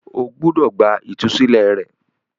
o gbúdọ̀ gba “ ìtúsílẹ̀ ” rẹ.